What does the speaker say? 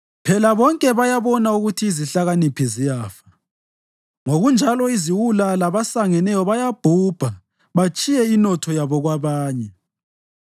Phela bonke bayabona ukuthi izihlakaniphi ziyafa; ngokunjalo iziwula labasangeneyo bayabhubha batshiye inotho yabo kwabanye.